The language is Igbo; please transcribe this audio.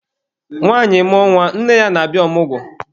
Nwanyị mmụọ nwa, nne ya na-abịa ọmụgwọ.